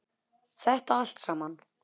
Þetta allt saman.